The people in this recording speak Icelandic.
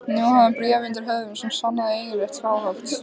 Nú hafði hann bréf undir höndum sem sannaði eignarrétt Skálholts.